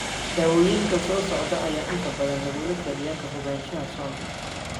Daawooyinka soo socda ayaa inta badan lagula taliyaa: Ka fogaanshaha soonka.